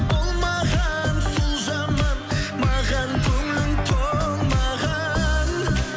болмаған сол жаман маған көңілің толмаған